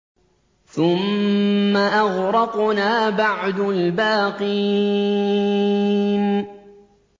ثُمَّ أَغْرَقْنَا بَعْدُ الْبَاقِينَ